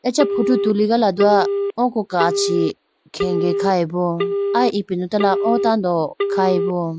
Acha photo tuligala dowa oko kachi khege khayibo aya ipindotala o tando khayibo.